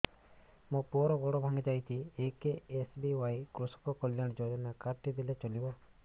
ମୋ ପୁଅର ଗୋଡ଼ ଭାଙ୍ଗି ଯାଇଛି ଏ କେ.ଏସ୍.ବି.ୱାଇ କୃଷକ କଲ୍ୟାଣ ଯୋଜନା କାର୍ଡ ଟି ଦେଲେ ଚଳିବ